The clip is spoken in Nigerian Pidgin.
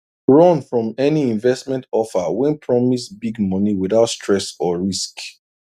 run from any investment offer wey promise big money without stress or risk